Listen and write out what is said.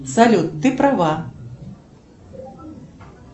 салют ты права